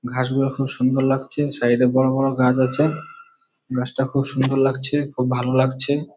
ঘাস গুলো খুবই সুন্দর লাগছে। সাইড -এ বড়ো বড়ো গাছ আছেএ । গাছটা খুব সুন্দর লাগছে। খুব ভাল লাগছে।